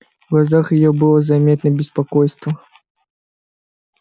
в глазах её было заметно беспокойство